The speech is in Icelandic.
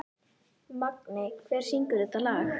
Magney, hver syngur þetta lag?